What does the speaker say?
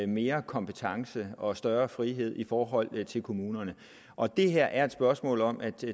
mere kompetence og større frihed i forhold til kommunerne og det her er et spørgsmål om at